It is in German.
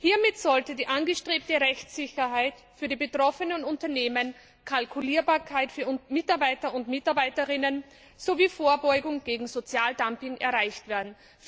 Hiermit sollte die angestrebte Rechtssicherheit für die betroffenen Unternehmen, Kalkulierbarkeit für Mitarbeiterinnen und Mitarbeiter sowie Vorbeugung gegen Sozialdumping erreicht werden.